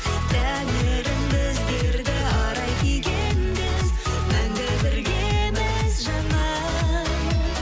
тәңірім біздерді арай күйге енгіз мәңгі біргеміз жаным